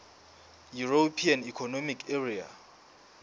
european economic area